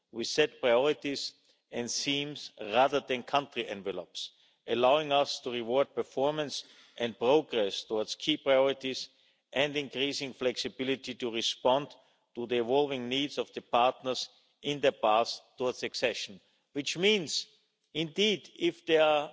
We set priorities and schemes rather than country envelopes, allowing us to reward performance and progress towards key priorities and to increase flexibility to respond to the evolving needs of the partners in the path towards accession. This means, indeed, if there